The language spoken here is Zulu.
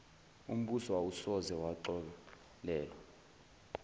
umbuso awusoze waxolelwa